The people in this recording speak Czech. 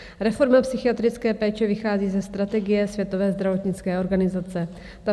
Reforma psychiatrické péče vychází ze strategie Světové zdravotnické organizace.